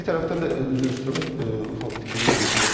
Və bir tərəfdən də üzr istəyirəm, fikrimi yekunlaşdırım.